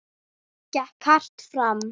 Gekk hart fram.